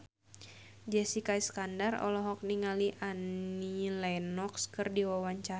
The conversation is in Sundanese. Jessica Iskandar olohok ningali Annie Lenox keur diwawancara